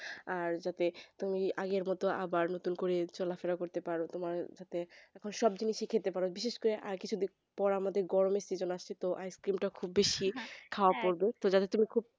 আর যাতে তুমি আগের মত আবার চলাফেরা করতে পারো তোমার যাতে সব কিছু খেতে পারো বিশেষ কিছু কিছুদিন পর আমাদের গরম আসছে তো Ice cream খুব বেশি খাবে যাতে তুমি